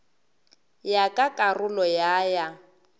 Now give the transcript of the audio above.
ya ka karolo ya ya